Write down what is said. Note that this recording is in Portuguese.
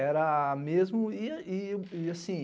Era mesmo, e assim,